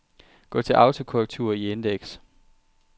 Gå til autokorrektur i indeks.